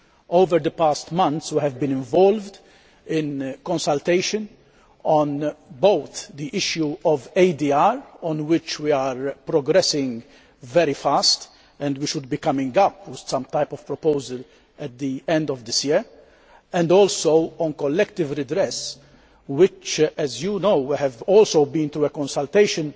Over the past months we have been involved in consultation on both the issue of ADR on which we are progressing very fast, and we should be coming up with some type of proposal at the end of this year and also on collective redress, which, as you know, has also been through a consultation